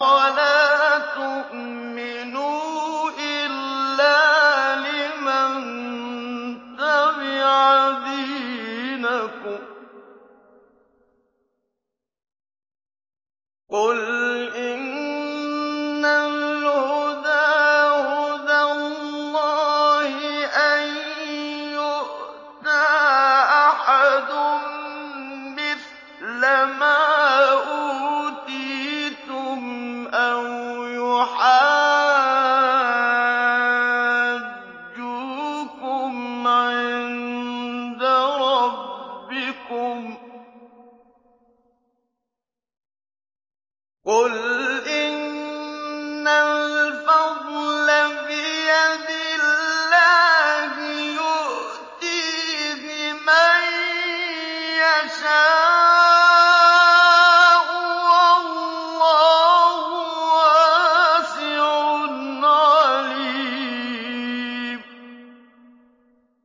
وَلَا تُؤْمِنُوا إِلَّا لِمَن تَبِعَ دِينَكُمْ قُلْ إِنَّ الْهُدَىٰ هُدَى اللَّهِ أَن يُؤْتَىٰ أَحَدٌ مِّثْلَ مَا أُوتِيتُمْ أَوْ يُحَاجُّوكُمْ عِندَ رَبِّكُمْ ۗ قُلْ إِنَّ الْفَضْلَ بِيَدِ اللَّهِ يُؤْتِيهِ مَن يَشَاءُ ۗ وَاللَّهُ وَاسِعٌ عَلِيمٌ